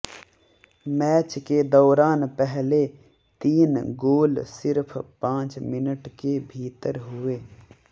match के दौरान पहले तीन गोल सिर्फ पांच मिनट के भीतर हुए